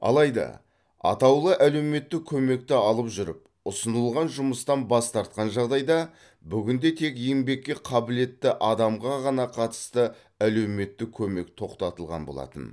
алайда атаулы әлеуметтік көмекті алып жүріп ұсынылған жұмыстан бас тартқан жағдайда бүгінде тек еңбекке қабілетті адамға ғана қатысты әлеуметтік көмек тоқтатылған болатын